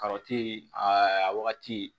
aa a wagati